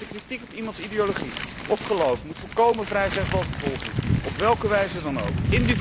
Kritiek op iemands ideologie of geloof moet volkomen vrij zijn van vervolging, op welke wijze dan ook.